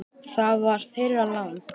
Það var þeirra lán.